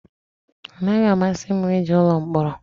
Ọ naghị amasị m ije ụlọ mkpọrọ